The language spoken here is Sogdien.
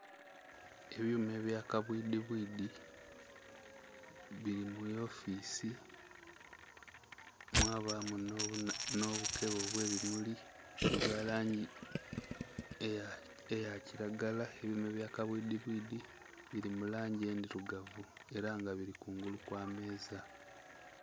Ebyuma ebya kabwidhi bwidhi bili mu wofiisi mwabamu nh'obukebe obw'ebimuli obwa langi eya kilagala. Ebyuma ebya kabwidhi bwidhi bili mu langi endhilugavu ela nga bili kungulu kwa meeza.